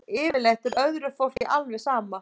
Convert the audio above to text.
Yfirleitt er öðru fólki alveg sama